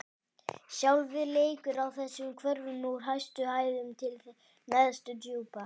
Sjálfið leikur á þessum hvörfum: úr hæstu hæðum til neðstu djúpa.